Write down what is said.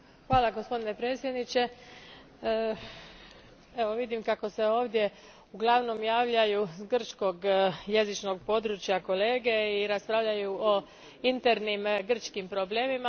Gospodine predsjedniče, vidim kako se ovdje uglavnom javljaju s grčkog jezičnog područja kolege i raspravljaju o internim grčkim problemima.